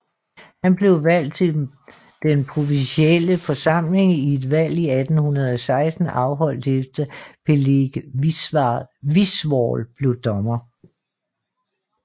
Han blev valgt til den provinsielle forsamling i et valg i 1816 afholdt efter Peleg Wiswall blev dommer